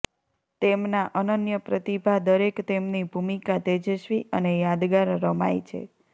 તેમના અનન્ય પ્રતિભા દરેક તેમની ભૂમિકા તેજસ્વી અને યાદગાર રમાય છે